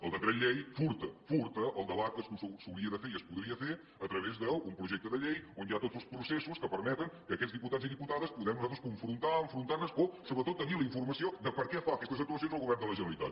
el decret llei furta furta el debat que s’hauria de fer i es podria fer a través d’un projecte de llei on hi ha tots els processos que permeten que aquests diputats i diputades puguem nosaltres confrontar enfrontar nos o sobretot tenir la informació de per què fa aquestes actuacions el govern de la generalitat